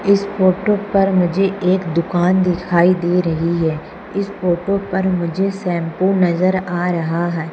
इस फोटो पर मुझे एक दुकान दिखाई दे रही हैं। इस फोटो पर मुझे शैंपू नजर आ रहा हैं।